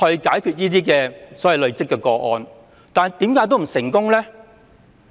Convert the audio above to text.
今次修例後是否必然會成功呢？